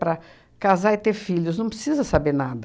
Para casar e ter filhos, não precisa saber nada.